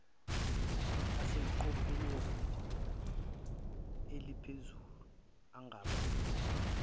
aseqophelweni aliphezulu angabiza